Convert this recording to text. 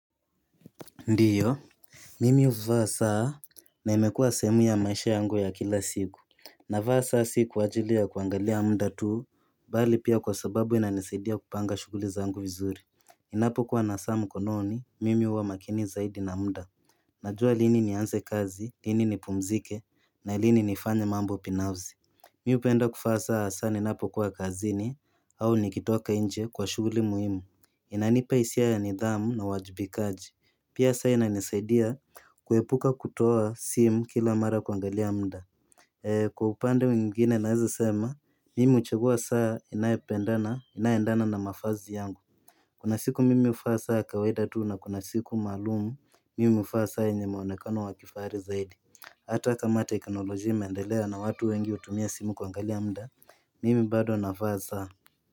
Ndio, mimi huvaa saa na imekua sehemu ya maisha yangu ya kila siku. Navaa saa si kwa ajili ta kuangalia muda tu bali pia kwa sababu inanisaidia kupanga shughuli zangu vizuri Ninapokuwa na saa mkononi, mimi huwa makini zaidi na muda. Najua lini nianze kazi, lini nipumzike na lini nifanye mambo binafsi. Mi hupenda kuvaa saa ninapo kuwa kazini au nikitoka nje kwa shughuli muhimu. Inanipa hisia ya nidhamu na uwajibikaji. Pia saa inanisaidia kuepuka kutoa simu kila mara kuangalia muda, Kwa upande mwingine naweza sema, mimi huchagua saa inayopendana, inayoendana na mavazi yangu Kuna siku mimi huvaa saa ya kawaida tu na kuna siku maalum, mimi huvaa saa yenye mwonekano wa kifahari zaidi Hata kama teknolojia imeendelea na watu wengi hutumia simu kuangalia muda, mimi bado navaa saa.